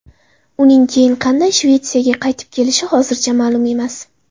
Uning keyin qanday Shvetsiyaga qaytib ketishi hozircha ma’lum emas.